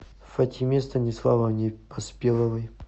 фатиме станиславовне поспеловой